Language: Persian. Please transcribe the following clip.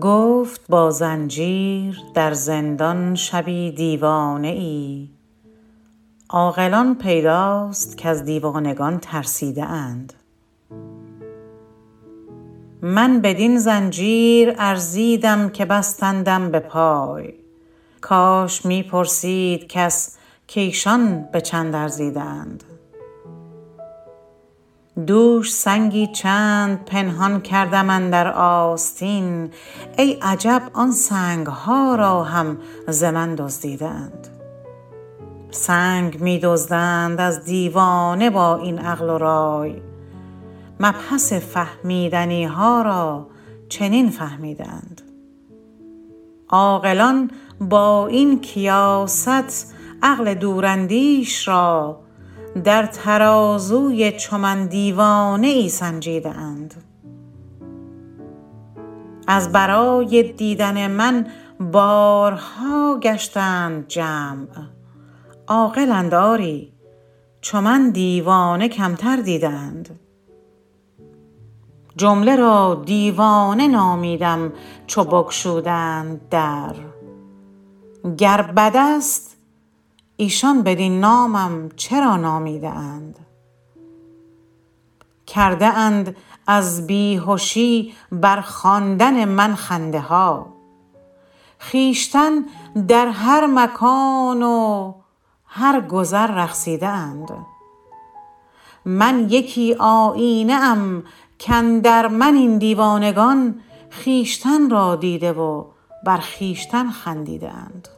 گفت با زنجیر در زندان شبی دیوانه ای عاقلان پیداست کز دیوانگان ترسیده اند من بدین زنجیر ارزیدم که بستندم به پای کاش می پرسید کس کایشان به چند ارزیده اند دوش سنگی چند پنهان کردم اندر آستین ای عجب آن سنگ ها را هم ز من دزدیده اند سنگ می دزدند از دیوانه با این عقل و رای مبحث فهمیدنی ها را چنین فهمیده اند عاقلان با این کیاست عقل دوراندیش را در ترازوی چو من دیوانه ای سنجیده اند از برای دیدن من بارها گشتند جمع عاقلند آری چو من دیوانه کمتر دیده اند جمله را دیوانه نامیدم چو بگشودند در گر بدست ایشان بدین نامم چرا نامیده اند کرده اند از بیهشی بر خواندن من خنده ها خویشتن در هر مکان و هر گذر رقصیده اند من یکی آیینه ام کاندر من این دیوانگان خویشتن را دیده و بر خویشتن خندیده اند